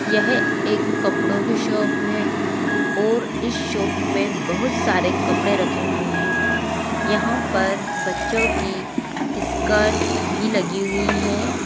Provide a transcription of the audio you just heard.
यह एक कपड़ों की शॉप है और इस शॉप मे बहुत सारे कपड़े रखे हुवे है यहा पर बच्चों की स्कर्ट भी लगी हुई हे।